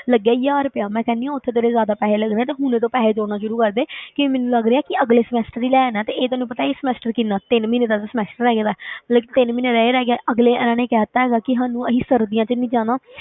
ਲੱਗਿਆ ਹਜ਼ਾਰ ਰੁਪਇਆ ਮੈਂ ਕਹਿੰਦੀ ਹਾਂ ਉੱਥੇ ਤੇਰੇ ਜ਼ਿਆਦਾ ਪੈਸੇ ਲੱਗਣੇ ਆਂ ਤੇ ਹੁਣ ਤੋਂ ਪੈਸੇ ਜੋੜਨਾ ਸ਼ੁਰੂ ਕਰ ਦੇ ਕਿ ਮੈਨੂੰ ਲੱਗ ਰਿਹਾ ਕਿ ਅਗਲੇ semester ਵਿੱਚ ਹੀ ਲੈ ਜਾਣਾ ਤੇ ਇਹ ਤੈਨੂੰ ਪਤਾ ਹੈ ਇਹ semester ਕਿੰਨਾ ਤਿੰਨ ਮਹੀਨੇ ਦਾ ਤਾਂ semester ਰਹਿ ਗਿਆ ਹੈ ਮਤਲਬ ਕਿ ਤਿੰਨ ਮਹੀਨੇ ਦਾ ਇਹ ਰਹਿ ਗਿਆ, ਅਗਲੇ ਇਹਨਾਂ ਨੇ ਕਹਿ ਦਿੱਤਾ ਹੈਗਾ ਕਿ ਸਾਨੂੰ ਅਸੀਂ ਸਰਦੀਆਂ ਵਿੱਚ ਨਹੀਂ ਜਾਣਾ,